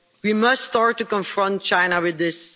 We must start to confront China with this.